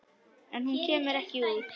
En hún kemur ekki út.